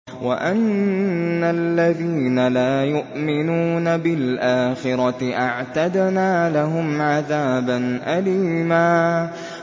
وَأَنَّ الَّذِينَ لَا يُؤْمِنُونَ بِالْآخِرَةِ أَعْتَدْنَا لَهُمْ عَذَابًا أَلِيمًا